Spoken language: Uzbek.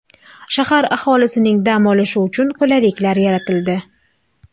Shahar aholisining dam olishi uchun qulayliklar yaratildi.